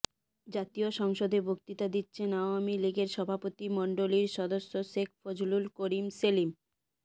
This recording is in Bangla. জাতীয় সংসদে বক্তৃতা দিচ্ছেন আওয়ামী লীগের সভাপতিমণ্ডলীর সদস্য শেখ ফজলুল করিম সেলিম